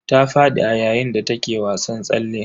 Ta fadi a yayin da take wasan tsalle.